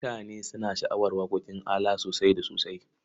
Mutane suna sha'awar waƙoƙin ALA sosai da sosai.